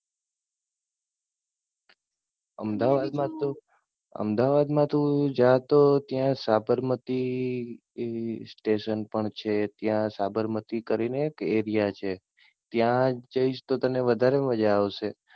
અમદાવાદ મા તું, અમદાવાદ માં તું જા તો સાબરમતી Station પણ છે, ત્યાં સાબરમતી કરી ને એક Area છે. ત્યાં જઈશ તો તને વધારે મજા આવશે.